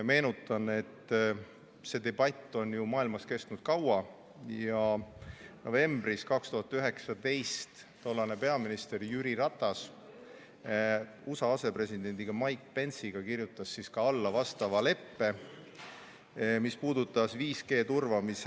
Meenutan, et see debatt on maailmas kestnud kaua ja novembris 2019 kirjutas tollane peaminister Jüri Ratas USA asepresidendi Mike Pence'iga alla vastava leppe, mis puudutas 5G turvamise ...